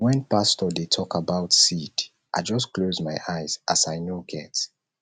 wen pastor dey tok about seed i just close my ears as i no get